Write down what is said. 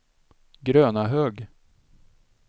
Grönahög